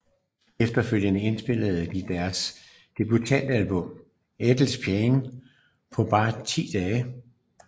Efterfølgende indspillede de deres debutalbum Endless Pain på bare ti dage